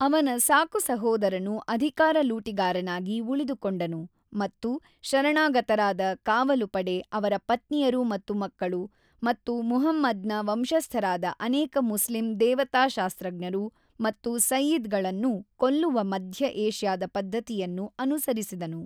ಅವನ ಸಾಕು ಸಹೋದರನು ಅಧಿಕಾರ ಲೂಟಿಗಾರನಾಗಿ ಉಳಿದುಕೊಂಡನು ಮತ್ತು ಶರಣಾಗತರಾದ ಕಾವಲುಪಡೆ, ಅವರ ಪತ್ನಿಯರು ಮತ್ತು ಮಕ್ಕಳು, ಮತ್ತು ಮುಹಮ್ಮದ್ ನ ವಂಶಸ್ಥರಾದ ಅನೇಕ ಮುಸ್ಲಿಂ ದೇವತಾಶಾಸ್ತ್ರಜ್ಞರು ಮತ್ತು ಸಯ್ಯಿದ್ ಗಳನ್ನು ಕೊಲ್ಲುವ ಮಧ್ಯ ಏಷ್ಯಾದ ಪದ್ಧತಿಯನ್ನು ಅನುಸರಿಸಿದನು.